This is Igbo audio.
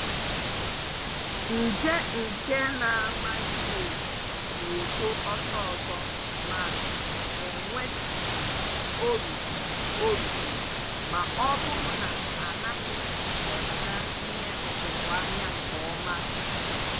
Nje nke na -ama ihe evu na-eto ọsọsọ ma enwee chi orukpụrụ orukpụrụ ma ọbụrụ na anaghị lebara ihe ọkụkụ anya nke ọma.